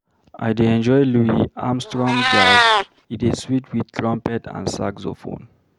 I dey enjoy Louis Armstrong Jazz, e dey sweet wit trumpet and saxophone.